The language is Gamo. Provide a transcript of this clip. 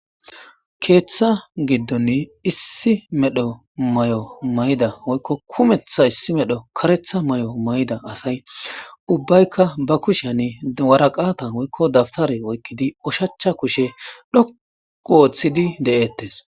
Keeththa giddoni issi medho may7o may7da woykko kumetha issi medho karetha may7o may7da asay ubbaykka ba kusheani waraqata woykko dabtare oykkidi oshachcha kushe dhoqu ooththidi de'eettes.